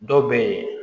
Dɔw bɛ yen